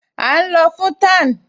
À ún lọ fún tan